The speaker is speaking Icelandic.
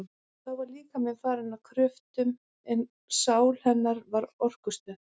Þá var líkaminn farinn að kröftum, en sál hennar var orkustöð.